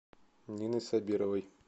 ниной сабировой